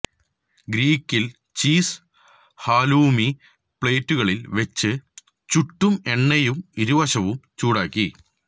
ഗ്രീക്കിൽ cheese halloumi പ്ലേറ്റുകളിൽ വെച്ച് ചൂടും എണ്ണയും ഇരുവശത്തും ചൂടാക്കി